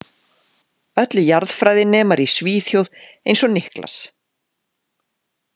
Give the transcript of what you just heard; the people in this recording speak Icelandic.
Öll jarðfræðinemar í Svíþjóð eins og Niklas.